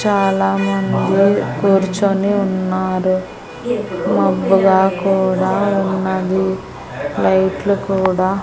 చాలా మంది కూర్చొని ఉన్నారు మబ్బుగా కూడా ఉన్నది లైట్లు కూడా --